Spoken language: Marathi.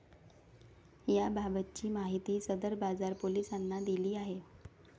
याबाबतची माहिती सदर बाजार पोलिसांनी दिली आहे.